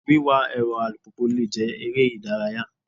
Wíwà èrọ alùpùpù le jẹ́ eré ìdárayá.